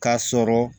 K'a sɔrɔ